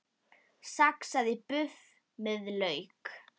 Saxað buff með lauk